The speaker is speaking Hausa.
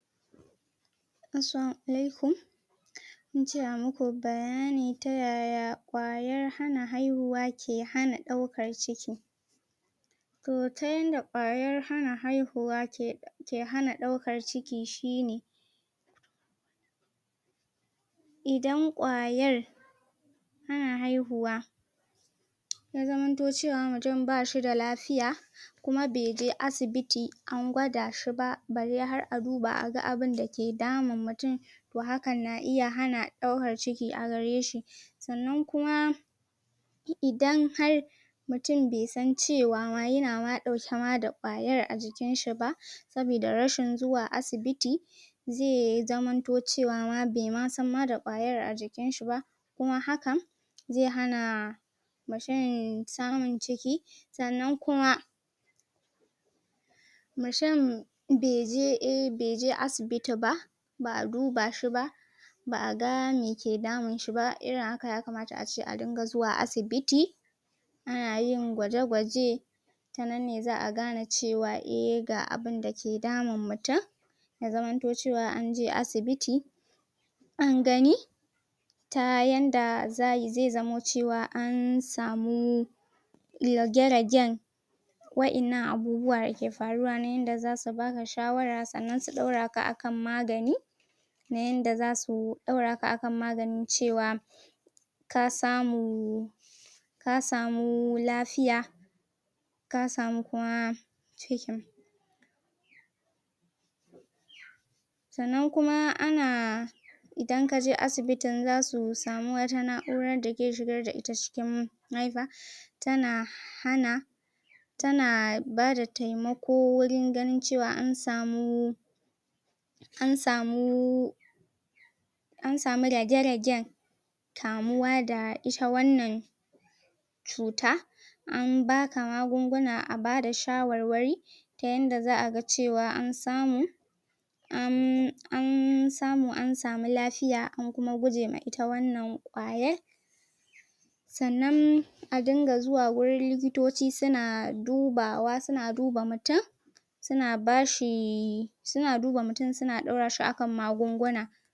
Assalamu alaikum kun ce a muka bayani ta yaya ƙwayar hana haihuwa ke hana ɗaukar ciki to ta yanda ƙwayar hana haihuwa ke hana ɗaukar ciki shi ne idan ƙwayar hana haihuwa ya zamanto cewa mutun ba shi da lafiya kuma be je asibiti an gwada shi ba, bare har a duba a ga abinda ke damun mutun to hakan na iya hana ɗaukar ciki a gare shi sannan kuma idan har mutun bai san cewa ma yana ma ɗauke ma da ƙwayar a jikin shi ba sabida rashin zuwa asibiti zai zamanto cewa ma bai ma san ma da ƙwayar a jikin shi ba kuma hakan zai hana mutun samun ciki sannan kuma mutun bai je asibiti ba, ba'a duba shi ba ba'a ga me ke damun shi ba, irin haka yakamata a ce a dinga zuwa asibiti ana yin gwaje-gwaje ta nan ne za'a gane cewa eh, ga abinda ke damun mutun ya zamanto cewa an je asibiti an gani ta yanda zai zamo cewa an samu rage-ragen waƴannan abubuwa da ke faruwa nan yanda zasu baka shawara sannan su ɗaura ka akan magani na ƴanda zasu ɗaura ka akan magani cewa ka samu ka samu lafiya ka samu kuma cikin sannan kuma ana idan kaje asibitin zasu samu wata na'urar da ke shigar da ita cikin mahaifa tana hana tana bada taimako wurin ganin cewa an samu an samu an samu rage-ragen kamuwa da ita wannan cuta an baka magunguna, a bada shawarwari ta yanda za'a ga cewa an samu an samu, an samu lafiya an kuma guje ma ita wannan ƙwayar sannan a dinga zuwa wurin likitoci suna dubawa, suna duba mutun suna ba shi, suna duba mutun suna ɗora shi a kan magunguna.